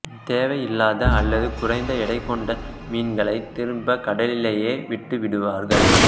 தேவையில்லாத அல்லது குறைந்த எடை கொண்ட மீன்களைத் திரும்பக் கடலிலேயே விட்டுவிடுவார்கள்